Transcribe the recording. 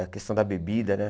A questão da bebida, né?